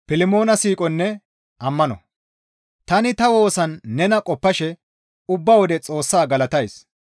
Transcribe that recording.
Tani ta woosan nena qoppashe ubba wode Xoossaa galatays.